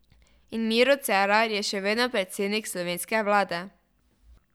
In Miro Cerar je še vedno predsednik slovenske vlade.